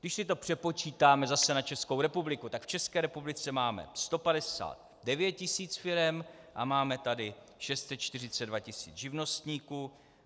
Když si to přepočítáme zase na Českou republiku, tak v České republice máme 159 tis. firem a máme tady 642 tis. živnostníků.